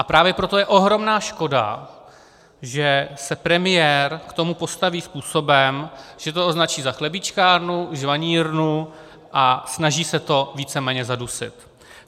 A právě proto je ohromná škoda, že se premiér k tomu postaví způsobem, že to označí za chlebíčkárnu, žvanírnu, a snaží se to víceméně zadusit.